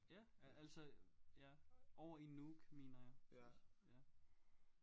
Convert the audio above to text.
Ja altså ja og i Nuuk mener jeg ja